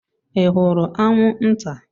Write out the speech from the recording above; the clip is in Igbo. Ị hụrụ anwụnta?